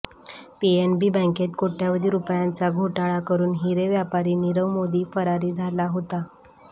PNB बँकेत कोट्यवधी रुपयांचा घोटाळा करून हिरे व्यापारी नीरव मोदी फरारी झाला होता